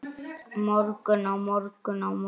morgun, á morgun, á morgun.